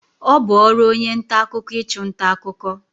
Ọ bu ọrụ onye nta akụkọ ichu nta akụkọ.